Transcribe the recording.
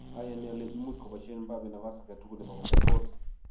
Ayani ale imuch koboisien Mbappe nabas agetugul nebo koger gool